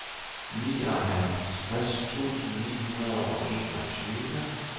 nioghalvtreds tusind ni hundrede og enogtyve